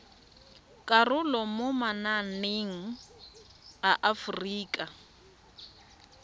karolo mo mananeng a aforika